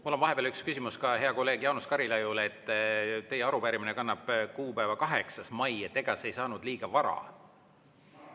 Mul on vahepeal üks küsimus ka heale kolleegile Jaanus Karilaiule, et teie arupärimine kannab kuupäeva 8. mai, et ega see ei saanud liiga vara.